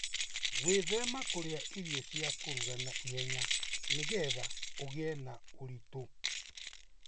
Gwĩthema kũrĩa irio cia kũruga na ihenya nĩgetha ũgĩe na ũritũ.